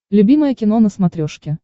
любимое кино на смотрешке